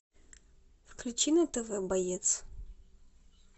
включи на тв боец